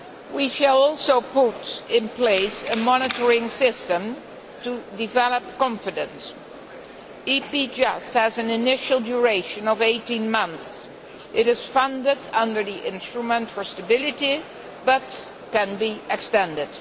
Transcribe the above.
We shall also put in place a monitoring system to develop confidence. EPJUST has an initial duration of 18 months and is funded under the Instrument for Stability, but can be extended.